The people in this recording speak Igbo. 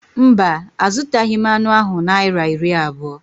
Mba, a zụtaghị m anụ ahụ Naịra iri abụọ